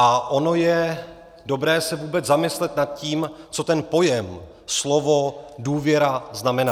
A ono je dobré se vůbec zamyslet nad tím, co ten pojem, slovo důvěra, znamená.